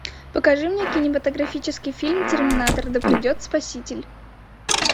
покажи мне кинематографический фильм терминатор да придет спаситель